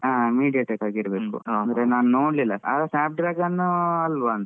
ಹಾ mediatek ಆಗಿರ್ಬೇಕು ಅಂದ್ರೆ ನಾನ್ ನೋಡ್ಲಿಲ್ಲ soft dragon ಅಲ್ವೋ ಅಂತ.